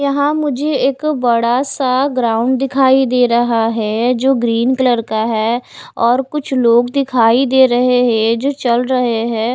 यहाँ मुझे एक बड़ा सा ग्राउंड दिखाई दे रहा है जो ग्रीन कलर का है और कुछ लोग दिखाई दे रहे हैं जो चल रहे हैं।